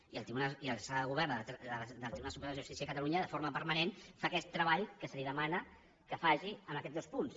i la sala de govern del tribunal superior de justícia de catalunya de forma permanent fa aquest treball que se li demana que faci en aquests dos punts